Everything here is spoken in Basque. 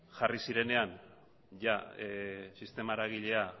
jarri zirenean jada sistema eragilea